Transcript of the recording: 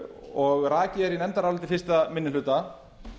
og rakið er í nefndaráliti fyrsti minni hluta